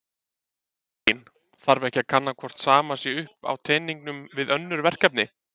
Elín: Þarf ekki að kanna hvort sama sé upp á teningnum við önnur verkefni?